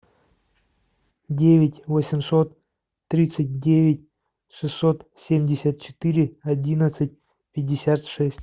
девять восемьсот тридцать девять шестьсот семьдесят четыре одиннадцать пятьдесят шесть